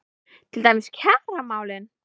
Til dæmis kjaramálin?